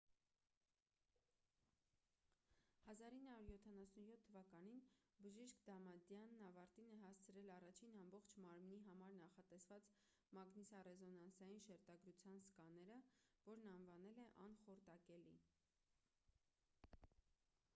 1977 թվականին բժիշկ դամադյանն ավարտին է հասցրել առաջին ամբողջ մարմնի համար նախատեսված մագնիսառեզոնանսային շերտագրության սկաները որն անվանել է անխորտակելի